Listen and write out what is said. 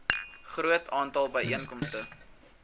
groot aantal byeenkomste